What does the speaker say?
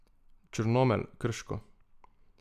Črnomelj, Krško.